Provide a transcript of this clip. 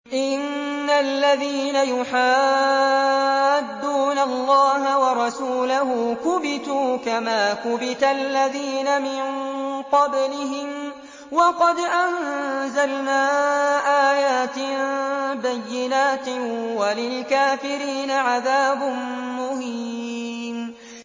إِنَّ الَّذِينَ يُحَادُّونَ اللَّهَ وَرَسُولَهُ كُبِتُوا كَمَا كُبِتَ الَّذِينَ مِن قَبْلِهِمْ ۚ وَقَدْ أَنزَلْنَا آيَاتٍ بَيِّنَاتٍ ۚ وَلِلْكَافِرِينَ عَذَابٌ مُّهِينٌ